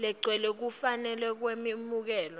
legcwele kufanele kwemukelwe